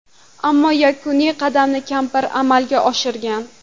Ammo yakuniy qadamni kampir amalga oshirgan.